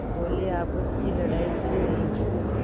बोलेआपस की लड़ाई अच्छी नहीं